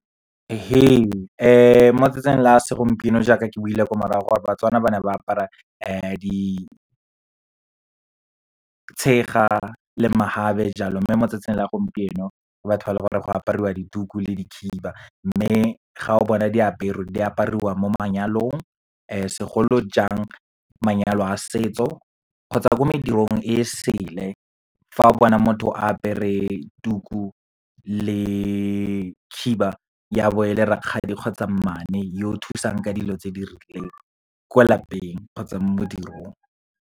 Ee mo matsatsing la segompieno jaaka ke buile ko morago gore BaTswana ba na ba apara ditshega le mahabe jalo, mme motsatsing la gompieno ke batho ba le gore go apariwa dituku le dikhiba. Mme ga o bona diaperwe, di apariwa mo manyalong, segolo jang, manyalo a setso kgotsa ko medirong e sele. Fa o bona motho a apere tuku le khiba, ya bo e le rakgadi kgotsa mmane, yo o thusang ka dilo tse di rileng kwa lapeng, kgotsa mo modirong.